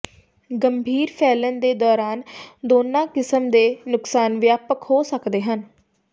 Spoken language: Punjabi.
ਗੰਭੀਰ ਫੈਲਣ ਦੇ ਦੌਰਾਨ ਦੋਨਾਂ ਕਿਸਮ ਦੇ ਨੁਕਸਾਨ ਵਿਆਪਕ ਹੋ ਸਕਦੇ ਹਨ